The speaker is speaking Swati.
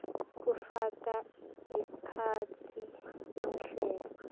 kufaka ekhatsi tinhlelo